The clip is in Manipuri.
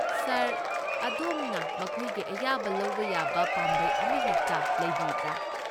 ꯁꯥꯔ, ꯑꯗꯣꯝꯅ ꯃꯈꯣꯏꯒꯤ ꯑꯌꯥꯕ ꯂꯧꯕ ꯌꯥꯕ ꯄꯥꯝꯕꯩ ꯑꯃꯍꯦꯛꯇ ꯂꯩꯕꯤꯕ꯭ꯔꯥ?